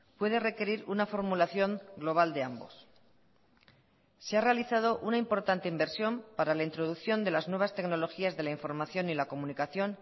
puede requerir una formulación global de ambos se ha realizado una importante inversión para la introducción de las nuevas tecnologías de la información y la comunicación